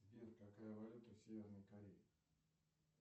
сбер какая валюта в северной корее